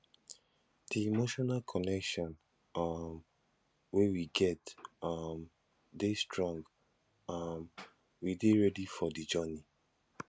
di emotional connection um wey we get um dey strong um we dey ready for the journey